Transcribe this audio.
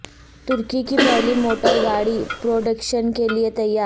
ترکی کی پہلی موٹر گاڑی پروڈکشن کے لیے تیار